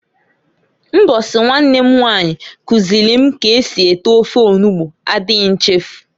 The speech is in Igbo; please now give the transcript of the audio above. Mbosi nwanne m nwanyi kuziili m ka esi ete ofe onugbu adighi nchefu.